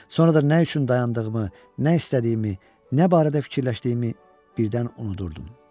Sonra da nə üçün dayandığımı, nə istədiyimi, nə barədə fikirləşdiyimi birdən unudurdum.